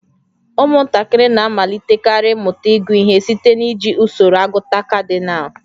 Ụmụntakịrị na-amalitekarị ịmụta ịgụ ihe site n'iji usoro agụta kadinal